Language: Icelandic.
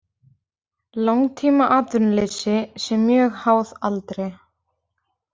Langtímaatvinnuleysi sé mjög háð aldri